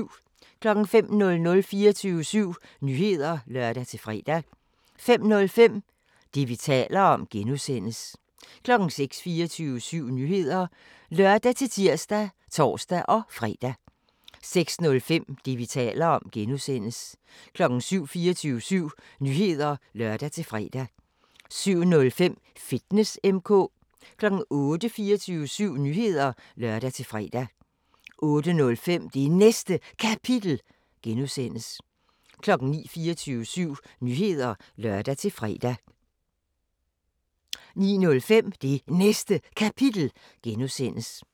05:00: 24syv Nyheder (lør-fre) 05:05: Det, vi taler om (G) 06:00: 24syv Nyheder (lør-tir og tor-fre) 06:05: Det, vi taler om (G) 07:00: 24syv Nyheder (lør-fre) 07:05: Fitness M/K 08:00: 24syv Nyheder (lør-fre) 08:05: Det Næste Kapitel (G) 09:00: 24syv Nyheder (lør-fre) 09:05: Det Næste Kapitel (G)